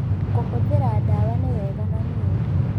Kũhũthĩra dawa nĩ wega na nĩ ũũru